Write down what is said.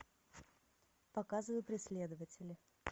показывай преследователи